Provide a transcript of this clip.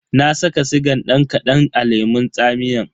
Na saka sigan dan kadan a lemun tsamiyan.